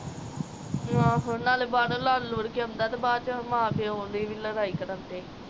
ਨੀ ਆਹੋ, ਨਾਲੇ ਬਾਹਰੋਂ ਲੜ ਲੁੜ ਆਂਦਾ, ਤੇ ਬਾਦਚੋ ਮਾਂ-ਪਿਓ ਦੀ ਵੀ ਲੜਾਈ ਕਰਾਂਦੇ।